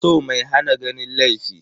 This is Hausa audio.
So mai hana ganin laifi.